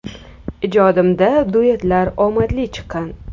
Ijodimda duetlar omadli chiqqan.